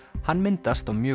hann myndast á mjög